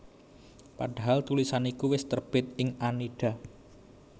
Padahal tulisan iku wis terbit ing Annida